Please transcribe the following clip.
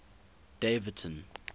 daveyton